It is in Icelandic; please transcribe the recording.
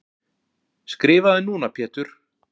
Skrifaðu núna Pétur.